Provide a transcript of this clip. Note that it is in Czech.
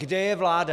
Kde je vláda?